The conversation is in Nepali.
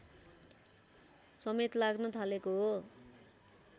समेत लाग्न थालेको हो